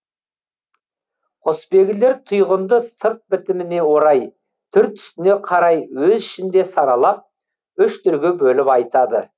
құсбегілер тұйғынды сырт бітіміне орай түр түсіне қарай өз ішінде саралап үш түрге бөліп айтады